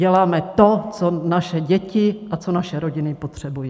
Děláme to, co naše děti a co naše rodiny potřebují.